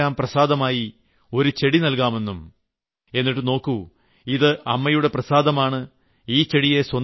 ക്ഷേത്രത്തിൽ വരുന്നവർക്കെല്ലാം പ്രസാദമായി ഒരു ചെടി നൽകാമെന്നും എന്നിട്ട് നോക്കൂ ഇത് അമ്മയുടെ പ്രസാദമാണ്